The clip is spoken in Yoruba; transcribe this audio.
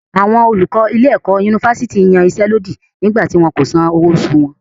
Àwọn olùkọ ilé-ẹ̀kọ́ yunifásítì yansẹ́lódì nígbà tí wọn kò san owó oṣù wọn.